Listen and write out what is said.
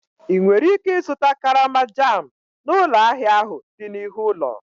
Ị nwere ike ịzụta karama jam n'ụlọ ahịa ahụ dị n'ihu ụlọ?